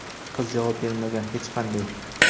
qiz javob bermagan hech qanday.